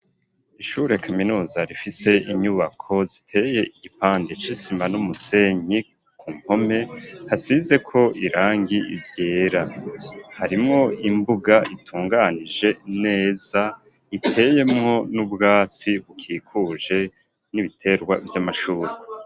Ishure kaminuza ifise inyubako ziteye igipande c'isima n'umusenyi kumpome hasizeko irangi ryera harimwo imbuga itunganije neza iteyemwo n'ubwatsi bukikuje n'ibiterwa vy'amashure.